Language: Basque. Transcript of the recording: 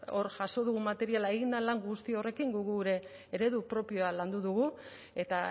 hor jaso dugun materiala egin den lan guzti horrekin guk gure eredu propioa landu dugu eta